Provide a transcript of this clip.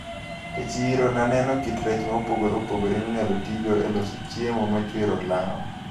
E chiro naneno kit rech mopogre opogre minyalo tigodo e loso chiemo machwero olaw.